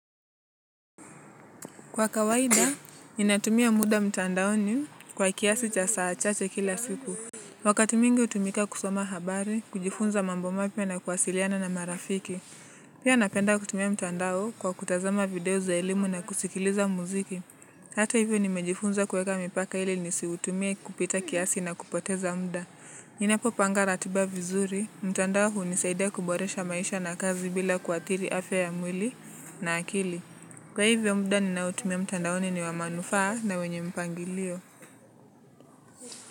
Kwa kawaida, ninatumia muda mtandaoni kwa kiasi cha saa chache kila siku. Wakati mwingi hutumika kusoma habari, kujifunza mambo mapya na kwasiliana na marafiki. Pia napenda kutumia mtandao kwa kutazama video za ilimu na kusikiliza muziki. Hata hivyo nimejifunza kuweka mipaka ili nisiutumie kupita kiasi na kupoteza muda. Ninapopanga ratiba vizuri, mtandao hunisaida kuboresha maisha na kazi bila kuathiri afya ya mwili na akili. Kwa hivyo muda ninaotumia mtandaoni ni wa manufaa na wenye mpangilio.